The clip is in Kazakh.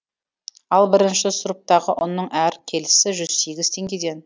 ал бірінші сұрыптағы ұнның әр келісі жүз сегіз теңгеден